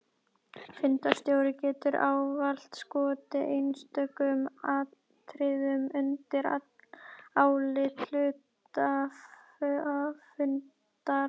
Fundarstjóri getur ávallt skotið einstökum atriðum undir álit hluthafafundar.